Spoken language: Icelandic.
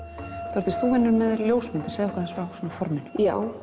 Þórdís þú vinnur með ljósmyndir segðu okkur aðeins frá forminu já